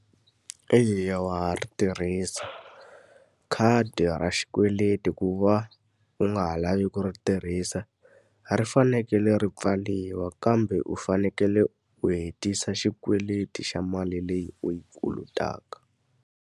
Eya wa ha ri tirhisa. Khadi ra xikweleti ku va u nga ha lavi ku ri tirhisa, ri fanekele ri pfariwa kambe u fanekele u hetisa xikweleti xa mali leyi u yi kolotaka.